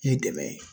K'i dɛmɛ